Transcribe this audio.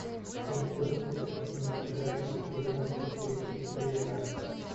ты найдешь у себя кинематографическую ленту в стилистике триллера